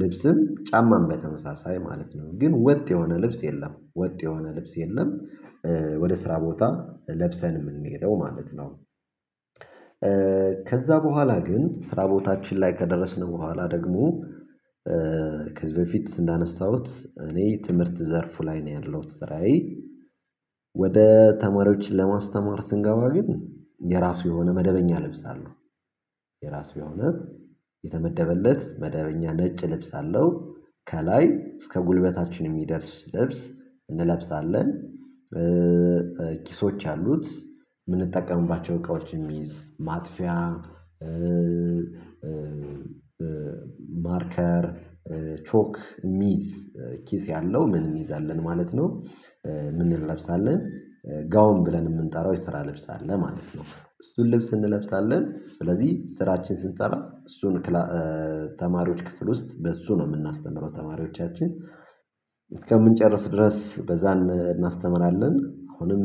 ልብስም ጫማም በተመሳሳይ ማለት ነው ግን ወጥ የሆነ ልብስ የለም ወጥ የሆነ ልብስ የለም። ወደ ስራ ቦታ ለብሰን የምንሄደው ማለት ነው። ከዛ በኋላ ግን ስራ ቦታችን ላይ ከደረስን በኋላ ደግሞ። ከዚህ በፊት እንዳነሳሁት እኔ ትምህርት ዘርፉ ላይ ነው ያለሁት ስራዬ። ወደ ተማሪዎች ለማስተማር ስንገባ ግን የራሱ የሆነ መደበኛ ለብሳለሁ። የራሱ የሆነ የተመደበለት መደበኛ ነጭ ልብስ አለው ከላይ እስከ ጉልበታችን የሚደርስ ልብስ እንለብሳለን። ኪሶች አሉት የምንጠቀምባቸው እቃዎችን የሚይዝ ማጥፊያ ማርከር ቾክ የሚዝ ኪስ ያለው ምን እንይዛለን ማለት ነው? ምን እንለብሳለን? ጋውን ብለን የምንጠራው የሰራ ልብስ አለ ማለት ነው። እሱን ልብስ እንለብሳለን ስለዚህ ስራችን ስንሰራ እሱን ተማሪዎች ክፍል ውስጥ በእሱ ነው የምናስተምረው ተማሪዎቻችን። እስከምንጨርስ ድረስ በዛን እናስተምራለን አሁንም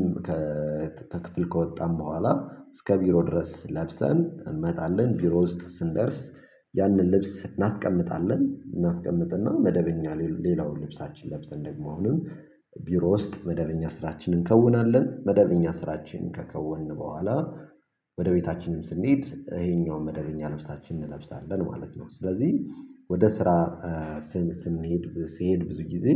ከክፍል ከወጣን በኋላ እስከ ቢሮ ድረስ ለብሰን እንመጣለን ቢሮ ውስጥ ስንደርስ። ያንን ልብስ እናስቀምጣለን እናስቀምጥና መደበኛ ሌላውን ልብሳችን ለብሰን ደግሞ አሁንም ቢሮ ውስጥ መደበኛ ስራችንን እንከውናለን። መደበኛ ስራችንን ከከውንን በኋላ ወደ ቤታችንም ስንሄድ ይሄኛውን መደገኛ ልብሳችን እንለብሳለን ማለት ነው። ስለዚህ ወደ ስራ ስንሄድ ስንሄድ ብዙ ጊዜ።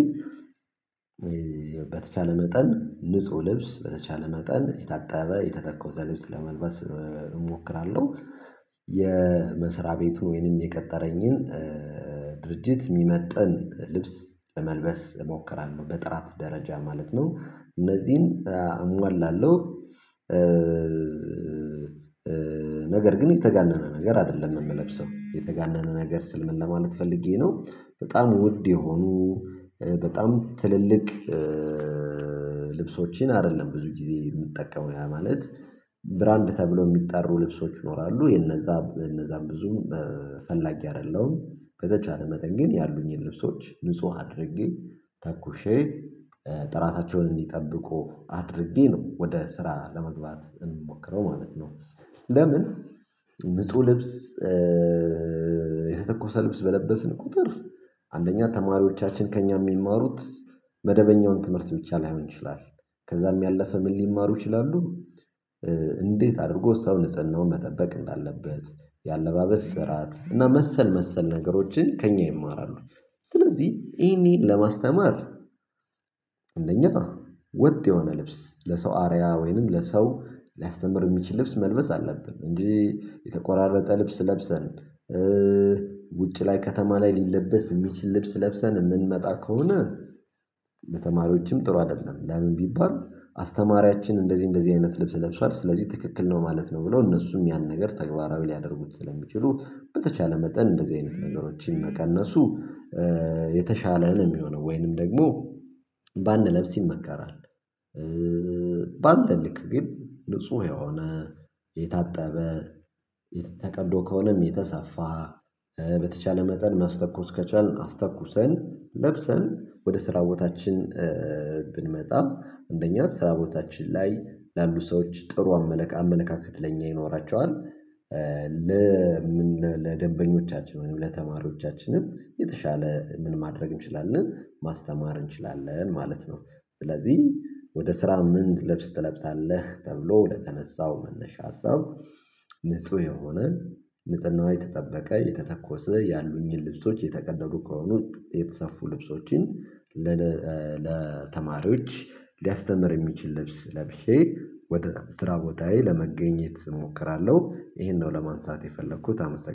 በተቻለ መጠን ንጹህ ልብስ በተቻለ መጠን የታጠበ የተተኮሰ ልብስ ለመልበስ እሞክራለሁ። የመስሪያ ቤቱ ወይንም የቀጠረኝን ድርጅት የሚመጥን ልብስ ለመልበስ እሞክራለሁ በጥራት ደረጃ ማለት ነው እነዚህን አሟላለሁ። ነገር ግን የተጋነነ ነገር አይደለም የምለብሰው የተጋነነ ነገር ስል ምን ለማለት ፈልጌ ነው በጣም ውድ የሆኑ በጣም ትልልቅ። ልብሶችን አይደለም ብዙ ጊዜ የምጠቀመው ያ ማለት ብራንድ ተብሎ የሚጠሩ ልብሶች ይኖራሉ የነዛ እነዛም ብዙ ፈላጊ አይደለም። በተቻለ መጠን ግን ያሉኝን ልብሶች ንጹህ አድርጌ ተኩሼ ጥራታቸውን እንዲጠብቁ አድርጌ ነው ወደ ስራ ለመግባት ምሞክረው ማለት ነው። ለምን? ብዙ ልብስ የተተኮሰ ልብስ በለበስን ቁጥር አንደኛ ተማሪዎቻችን ከእኛ የሚማሩት መደበኛውን ትምህርት ብቻ ላይሆን ይችላል። ከዛም ያለፈ ምን ሊማሩ ይችላሉ? እንዴት አድርጎ ሰው ንጽህናውን መጠበቅ እንዳለበት የአለባበስ ስርዓት እና መሰል ነገሮችን ከእኛ ይማራሉ። ስለዚህ ይሄን ለማስተማር እንደኛ ወጥ የሆነ ልብስ ለሰው አርያ ወይንም ለሰው ሊያስተምር የሚችል ልብስ መልበስ አለብን። እንጂ የተቆራረጠ ልብስ ለብሰን ውጪ ላይ ከተማ ላይ ሊለበስ የሚችል ልብስ ለብሰን የምንመጣ ከሆነ። ለተማሪዎችም ጥሩ አይደለም ለምን ቢባል? አስተማሪያችን እንደዚህ እንደዚህ አይነት ልብስ ለብሷል ስለዚህ ትክክል ነው ማለት ነው ብለው እነሱም ያን ነገር ተግባራዊ ሊያደርጉት ስለሚችሉ በተቻለ መጠን እንደዚህ አይነት ነገሮችን መቀነሱ የተሻለ ነው የሚሆነው ወይንም ደግሞ ባንለብስ ይመከራል። በአንተ ልክ ግን ንጹህ የሆነ የታጠበ ተቀዶ ከሆነም የተሰፋ በተቻለ መጠን ማስተኮስ ከቻልን አስተኩሰን ለብሰን ወደ ስራ ቦታችን ብንመጣ አንደኛ ስራ ቦታችን ላይ ላሉ ሰዎች ጥሩ አመለካከት ለኛ ይኖራቸዋል። ለደበኞቻችን ወይም ለተማሪዎቻችንም የተሻለ ምን ማድረግ እንችላለን ማስተማር እንችላለን ማለት ነው። ስለዚህ ወደ ስራ ምን ልብስ ትለብሳለህ ተብሎ ለተነሳው መነሻ ሀሳብ። ንጹህ የሆነ ንጽህናው የተጠበቀ የተተኮሰ ያሉኝን ልብሶች የተቀደሉ ከሆኑ የተሰፉ ልብሶችን ለተማሪዎች ሊያስተምር የሚችል ልብስ ለብሼ ወደ ስራ ቦታዬ ለመገኘት እሞክራለሁ። ይሄን ነው ለማንሳት የፈለኩት አመሰግናለሁ